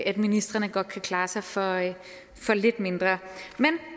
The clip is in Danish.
at ministrene godt kan klare sig for lidt mindre